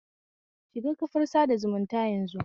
Shiga kafar sada zumunta yanzu